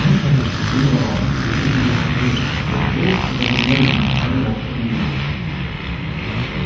нет конечно ответил рон если тебе мерещится какой-то голос это дурной знак даже в волшебном мире